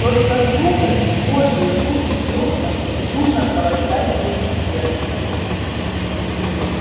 только сухость в горле зуд в дёснах безумно колотящееся сердце